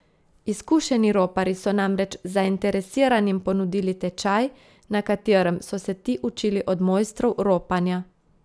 Izkušeni roparji so namreč zainteresiranim ponudili tečaj, na katerem so se ti učili od mojstrov ropanja.